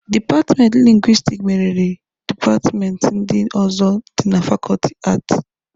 Dipatmenti lingwistiki meriri dipatmenti ndị ọzọ dị na fakọọtị Aati.